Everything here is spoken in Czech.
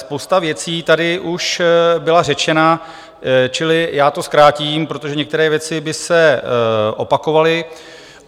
Spousta věcí tady už byla řečena, čili já to zkrátím, protože některé věci by se opakovaly.